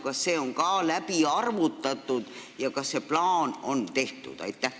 Kas see on ka läbi arvutatud ja kas see plaan on tehtud?